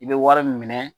I bɛ wari minɛ